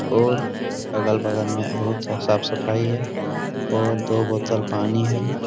और अगल-बगल में बहोत साफ-सफाई है और दो बोतल पानी है।